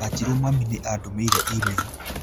Wanjĩrũ mami nĩ andũmĩire e-mail